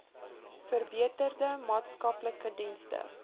verbeterde maatskaplike dienste